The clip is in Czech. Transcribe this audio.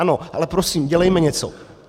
Ano, ale prosím, dělejme něco.